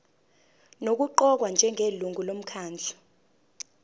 nokuqokwa njengelungu lomkhandlu